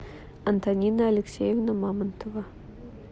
антонина алексеевна мамонтова